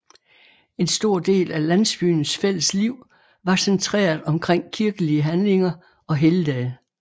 En stor del af landsbyens fælles liv var centreret omkring kirkelige handlinger og helligdage